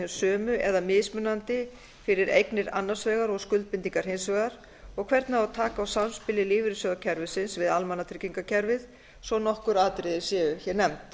hin sömu eða mismunandi fyrir eignir annars vegar og skuldbindingar hins vegar og hvernig á að taka á samspili lífeyrissjóðakerfisins við almannatryggingakerfið svo nokkur atriði séu nefnd